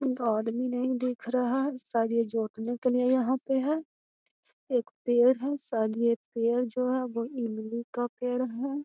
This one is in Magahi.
आदमी नहीं दिखा रहा है शायद ये जोतने के लीये यहाँ पे है | एक पेड़ है शायद ये पेड़ जो है वो इमली का पेड़ है |